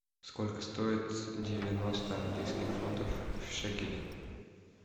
сколько стоит девяносто английских фунтов в шекели